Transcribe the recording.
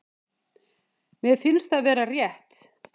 Mér finnst það vera rétt.